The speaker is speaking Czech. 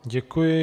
Děkuji.